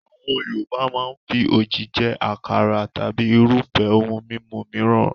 Àwọn Yorùbá máa ń fi òjì jẹ àkàrà tàbí irúfẹ́ ohun mímu mìíràn.